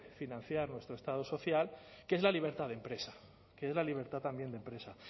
financiar nuestro estado social que es la libertad de empresa que es la libertad también de empresa